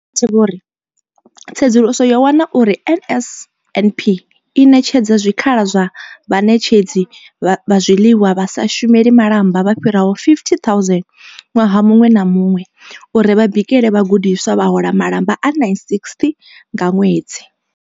Vho Mathe vho ri, Tsedzuluso yo wana uri NSNP i ṋetshedza zwikhala kha vhaṋetshedzi vha zwiḽiwa vha sa shumeli malamba vha fhiraho 50 000 ṅwaha muṅwe na muṅwe uri vha bikele vhagudiswa, vha hola malamba a R960 nga ṅwedzi.